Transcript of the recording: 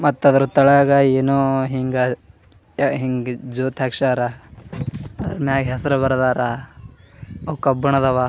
ಮತ್ತ್ ಅದ್ರದ್ ತಳಗ್ ಏನೋ ಹಿಂಗ್ ಹಿಂಗ್ ಜೋತ್ ಹಾಕ್ಸ್ಯರ ಮೆಗ್ ಹೆಸ್ರ ಬರ್ದಾರ ಕಬ್ಬಿಣದವ.